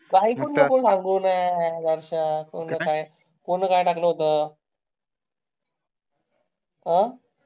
काही पण नको सांगू ना यार अरश्या कोणी काय टाकलं होतं आ